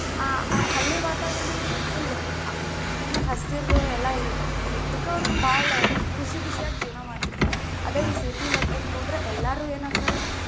ಆ ಹಳ್ಳಿ ವಾತಾವರಣ ಏನು full ಏನ ಹಸಿರು ಎಲ್ಲಾ ಇರತ್ತೆ, ಅದಕ್ಕ ಅವ್ರ ಬಾಳ ಖುಷಿ ಖುಷಿಯಾಗಿ ಜೀವನಾ ಮಾಡ್ತಿರ್ತಾರ, ಅದ ಈ city ಲೆಕ್ಕಕ್ಕ ಹೋದ್ರ ಎಲ್ಲಾರು ಎನಾಕ್ಕರ?